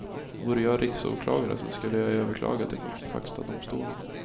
Vore jag riksåklagare skulle jag överklaga till högsta domstolen.